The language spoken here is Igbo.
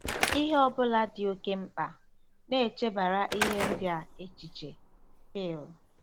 “Ihe ọ bụla dị oké mkpa.... na-echebara ihe ndị a echiche.”—FỊL.